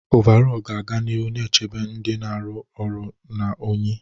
Ọvarọọr ga-aga n'ihu na-echebe ndị na-arụ ọrụ na unyi.